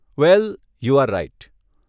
Well, you are right.